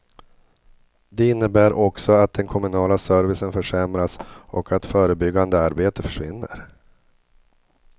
Det innebär också att den kommunala servicen försämras och att förebyggande arbete försvinner.